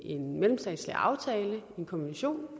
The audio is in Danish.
en mellemstatslig aftale en konvention